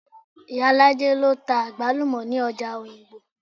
Ìyálájé lọ ta àgbálùmọ̀ ní ọjà òyìngbò